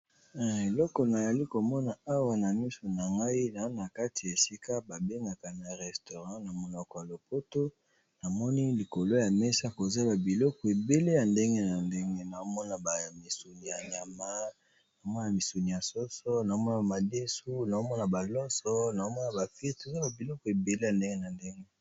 Eloko nazomona awa bandeko nazomona eza obele Restaurant namoni likolo ya mesa bilei ebele namoni bamisuni bamisuni ya soso eza babilo ebele ya ndenge na ndege